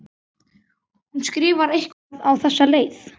Hún skrifar eitthvað á þessa leið: